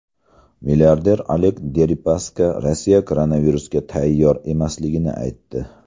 Milliarder Oleg Deripaska Rossiya koronavirusga tayyor emasligini aytdi.